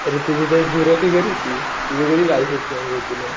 अरे तुझी तरी झिरो फिगर होती तुझी कशी बायसेप्स होतील?